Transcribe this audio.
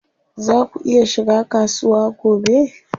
Zaa ku iya shiga kasuwa gobe?